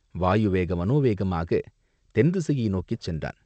வாயு வேக மனோ வேகமாகத் தென்திசையை நோக்கிச் சென்றான்.